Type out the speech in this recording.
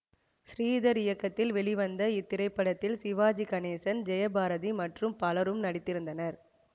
ஸ்ரீதர் இயக்கத்தில் வெளிவந்த இத்திரைப்படத்தில் சிவாஜி கணேசன் ஜெயபாரதி மற்றும் பலரும் நடித்திருந்தனர்